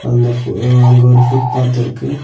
அந்த ஃபு அங்க ஒரு ஃபுட் பாத்திருக்கு .